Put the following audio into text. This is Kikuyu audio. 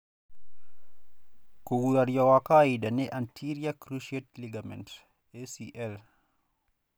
Kũgurarario gwa kwawaida nĩ anterior cruciate ligament (ACL)